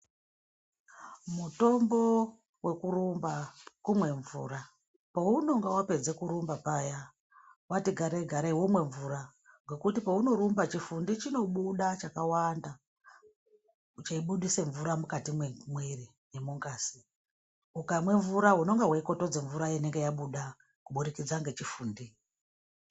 Mutombo wekurumba kumwe mvura paunonga wapedza kurumba paya wati garei garei womwe mvura ngekuti pauno rumba chifundi chinobuda chakawanda cheyi budise mvura mukati mwe mwiri ne mungazi ukamwe mvura unenge wei petudza mvura inenge yabuda ku budikidza ne chifundi.